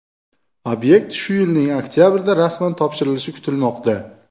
Obyekt shu yilning oktabrida rasman topshirilishi kutilmoqda.